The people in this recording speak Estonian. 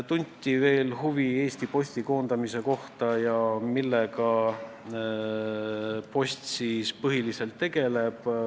Tunti veel huvi Eesti Posti koondamise kohta ja millega post siis põhiliselt tegeleb.